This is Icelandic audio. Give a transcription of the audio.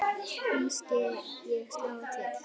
Kannske ég slái til.